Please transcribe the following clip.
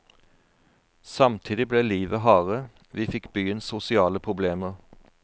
Samtidig ble livet hardere, vi fikk byens sosiale problemer.